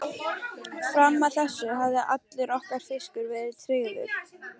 Fram að þessu hafði allur okkar fiskur verið tryggður.